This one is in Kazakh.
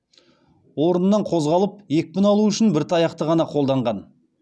орнынан қозғалып екпін алу үшін бір таяқты ғана қолданған